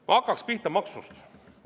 Ma hakkaksin pihta maksudest.